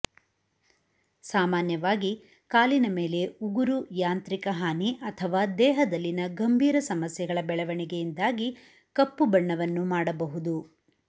ಸಾಮಾನ್ಯವಾಗಿ ಕಾಲಿನ ಮೇಲೆ ಉಗುರು ಯಾಂತ್ರಿಕ ಹಾನಿ ಅಥವಾ ದೇಹದಲ್ಲಿನ ಗಂಭೀರ ಸಮಸ್ಯೆಗಳ ಬೆಳವಣಿಗೆಯಿಂದಾಗಿ ಕಪ್ಪು ಬಣ್ಣವನ್ನು ಮಾಡಬಹುದು